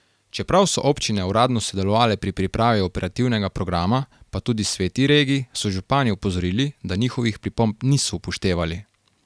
Čeprav so občine uradno sodelovale pri pripravi operativnega programa, pa tudi sveti regij, so župani opozorili, da njihovih pripomb niso upoštevali.